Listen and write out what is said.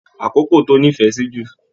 Àkókò tó nífẹẹ sí jù?